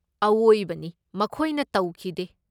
ꯑꯋꯣꯏꯕꯅꯤ ꯃꯈꯣꯏꯅ ꯇꯧꯈꯤꯗꯦ꯫